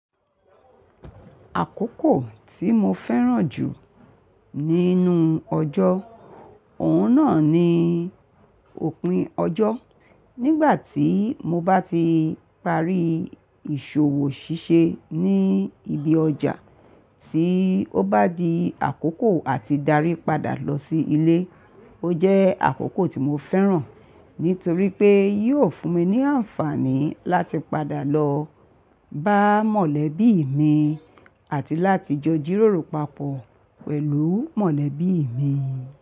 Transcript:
Àkókò tí mo fẹ́ràn jù nínú ọjọ́, òun náà ni òpin ọjọ́. Nígbà tí mo bá ti parí ìṣòwò ṣíṣe ní ibi ọjà tí ó bá di àkókò àti darí padà lọ sí ilé. Ó jẹ́ àkókò tí mo fẹ́ràn nítorí pé yóò fún mi ní àǹfààní láti padà lọ bá mọ̀lẹ́bí mi àti láti jọ jíróòrò papọ̀ pẹ̀lú mọ̀lẹ́bí mi.